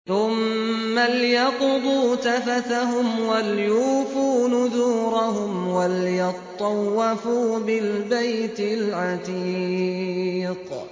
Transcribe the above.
ثُمَّ لْيَقْضُوا تَفَثَهُمْ وَلْيُوفُوا نُذُورَهُمْ وَلْيَطَّوَّفُوا بِالْبَيْتِ الْعَتِيقِ